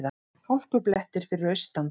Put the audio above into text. Hálkublettir fyrir austan